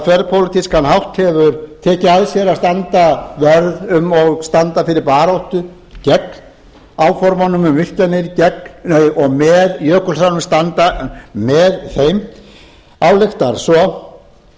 þverpólitískan hátt hefur tekið að sér að standa vörð um og standa fyrir baráttu gegn áformunum um virkjanir og með jökulsánum standa með þeim ályktar svo hann breytir og byrjun gæsalappa ekki rétt